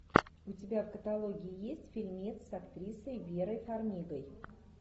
у тебя в каталоге есть фильмец с актрисой верой фармигой